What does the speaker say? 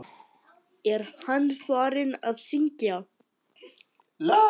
Er hann farinn að syngja?